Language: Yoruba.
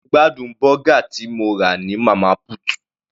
Mo gbádùn bọ́gà tí mo rà ní Mama put.